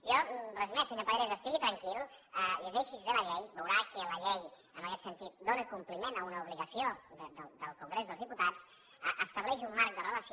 jo res més senyor pallarès estigui tranquil llegeixi’s bé la llei i veurà que la llei en aguest sentit dóna compliment a una obligació del congrés dels diputats estableix un marc de relació